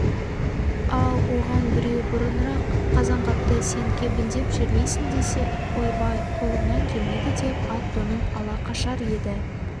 ал оған біреу бұрынырақ қазанғапты сен кебіндеп жерлейсің десе ойбай қолымнан келмейді деп ат-тонын ала қашар еді